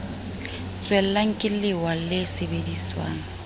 tswellang ke lewa le sebediswang